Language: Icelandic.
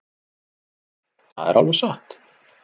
Það er alveg satt.